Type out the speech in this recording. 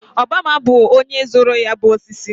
Obiọma bụ onye zụrụ ya bụ osisi